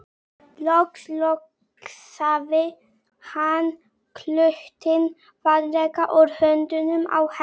Loks losaði hann klútinn varlega úr höndunum á henni.